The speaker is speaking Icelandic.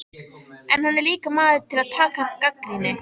En hann er líka maður til að taka gagnrýni.